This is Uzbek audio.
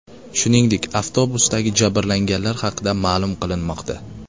Shuningdek, avtobusdagi jabrlanganlar haqida ma’lum qilinmoqda.